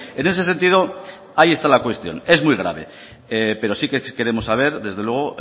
en ese sentido ahí está la cuestión es muy grave pero sí que queremos saber desde luego